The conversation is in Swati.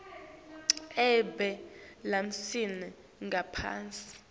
ebee lamiswe ngaphasi